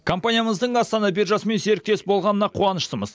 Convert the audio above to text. компаниямыздың астана биржасымен серіктес болғанына қуаныштымыз